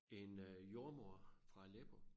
En øh jordemoder fra Aleppo